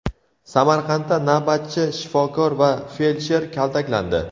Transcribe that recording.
Samarqandda navbatchi shifokor va feldsher kaltaklandi.